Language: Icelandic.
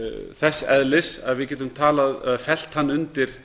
þess eðlis að við getum talað eða fellt hann undir